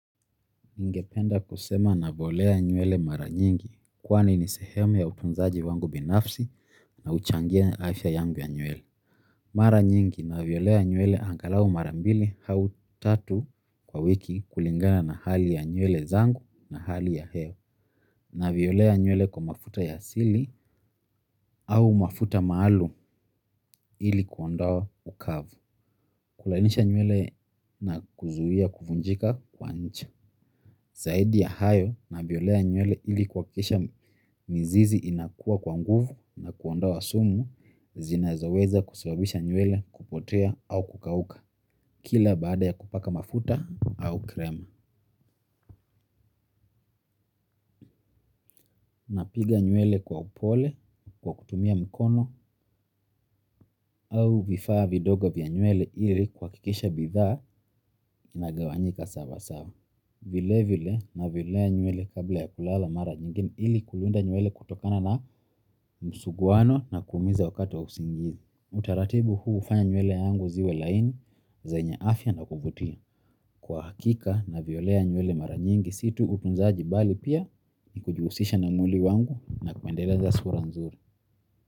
Ningependa kusema navolea nywele mara nyingi kwani ni sehemu ya utunzaji wangu binafsi na huchangia afya yangu ya nywele. Mara nyingi naviolea nywele angalau mara mbili au tatu kwa wiki kulingana na hali ya nywele zangu na hali ya hewa naviolea nywele kwa mafuta ya asili au mafuta maalum ili kuondoa ukavu. Kulalisha nywele na kuzuia kuvunjika kwa nje. Zaidi ya hayo naviolea nywele ili kuhakisha mizizi inakua kwa nguvu na kuondoa sumu zinazoweza kusababisha nywele kupotea au kukauka, kila baada ya kupaka mafuta au krema. Napiga nywele kwa upole, kwa kutumia mkono au vifaa vidogo vya nywele ili kuha kisha bidhaa inagawanyika sawa sawa. Vile vile naviolea nywele kabla ya kulala mara nyingine ili kulinda nywele kutokana na msuguano na kumiza wakati wa usingizi. Utaratibu huu hufanya nywele yangu ziwe laini zenye afya na kuvutia. Kwa hakika na violea nywele mara nyingi si tu utunzaji bali pia ni kujusisha na mwili wangu na kuendeleza sura nzuri.